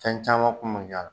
Fɛn caman kun ma